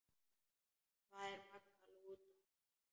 Hvað með Magga lúdó?